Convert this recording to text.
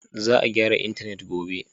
Za a gyara intanet gobe.